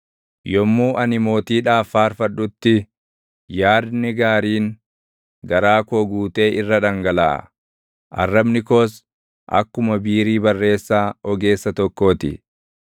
Yommuu ani mootiidhaaf faarfadhutti, yaadni gaariin garaa koo guutee irra dhangalaʼa; arrabni koos akkuma biirii barreessaa ogeessa tokkoo ti.